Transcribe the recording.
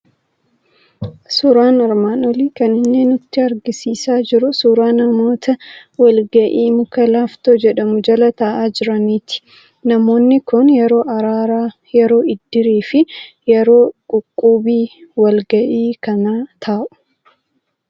Suuraan armaan olii kan inni nutti argisiisaa jiru suuraa namoota wal ga'ii muka laaftoo jedhamu jala taa'aa jiraniiti. Namoonni kun yeroo araaraa, yeroo iddirii fi yeroo quqqubii wal ga'ii kana taa'u.